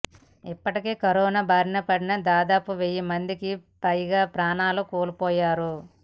ఇప్పటికే కరోనా బారిన పడి దాదాపు వెయ్యిమందికి పైగా ప్రాణాలు కోల్పోయారు